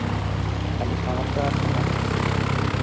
খালি সমস্যা আর সমস্যা.